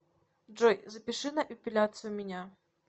джой запиши на эпиляцию меня